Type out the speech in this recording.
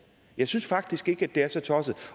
jeg synes faktisk ikke at det er så tosset